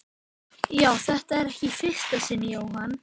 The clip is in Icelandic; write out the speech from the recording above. Já, þetta er ekki í fyrsta sinn Jóhann.